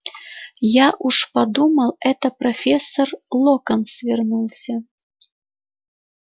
я уж подумал это профессор локонс вернулся